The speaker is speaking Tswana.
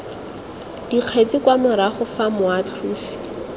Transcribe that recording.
dikgetsi kwa morago fa moatlhosi